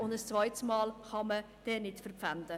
Ein zweites Mal kann man es nicht verpfänden.